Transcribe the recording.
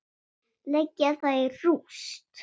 Leggja það í rúst!